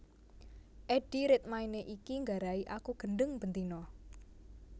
Eddie Redmayne iki nggarai aku gendheng ben dina